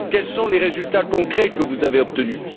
Quels sont les résultats concrets que vous avez obtenus?.